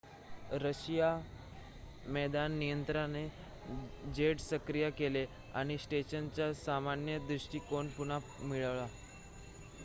Russian मैदान नियंत्रणाने jets सक्रिय केले आणि स्टेशनचा सामान्य दृष्टीकोन पुन्हा मिळवला